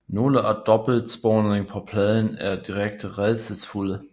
Nogle af dobbeltsporingerne på pladen er direkte rædselsfulde